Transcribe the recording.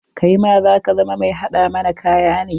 Kaima za ka zama mai haɗa mana kaya ne?